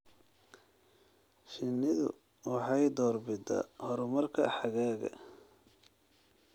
Shinnidu waxay door bidaa horumarka xagaaga.